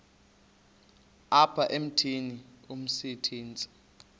apha emithini umsintsi